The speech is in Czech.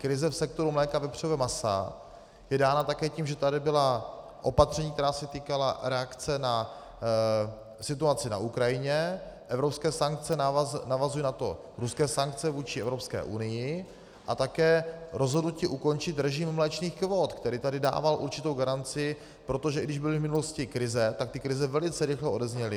Krize v sektoru mléka a vepřového masa je dána také tím, že tady byla opatření, která se týkala reakce na situaci na Ukrajině, evropské sankce, navazují na to ruské sankce vůči Evropské unii a také rozhodnutí ukončit režim mléčných kvót, který tady dával určitou garanci, protože i když byly v minulosti krize, tak ty krize velice rychle odezněly.